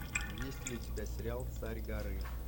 есть ли у тебя сериал царь горы